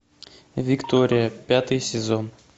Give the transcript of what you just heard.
виктория пятый сезон